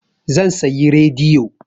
Zan sayi rediyo.